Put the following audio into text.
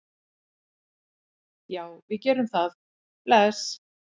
Já, við gerum það. Bless.